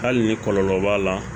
Hali ni kɔlɔlɔ b'a la